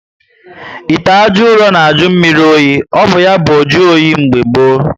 Ite ajọ uro na ajụ mmírí oyi. O bu ya bu njuoyi oge gboo